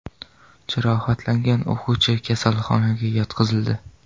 Jarohatlangan o‘quvchi kasalxonaga yotqizildi.